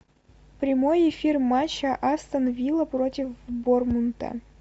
прямой эфир матча астон вилла против борнмута